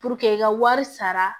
i ka wari sara